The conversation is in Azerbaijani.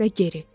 Və geri.